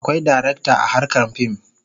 Akwai darakta a harkar fim.